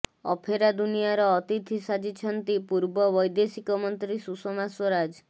ଅଫେରା ଦୁନିଆର ଅତିଥି ସାଜିଛନ୍ତି ପୂର୍ବ ବୈଦଶିକ ମନ୍ତ୍ରୀ ସୁଷମା ସ୍ୱରାଜ